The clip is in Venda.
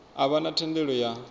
a vha na thendelo ya